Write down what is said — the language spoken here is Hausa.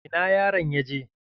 Ina yaron ya je?